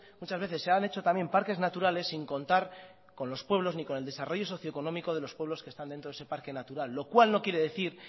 muchas veces se han hecho también parques naturales sin contar con los pueblos ni con el desarrollo socio económico de los pueblos que están dentro de ese parque natural lo cual no quiere decir